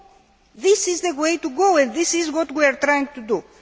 So this is the way to go and this is what we are trying to do.